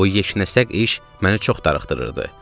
Bu yeknəsəq iş mənə çox darıxdırırdı.